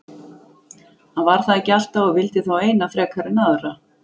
Hann var það ekki alltaf og vildi þá eina frekar en aðra.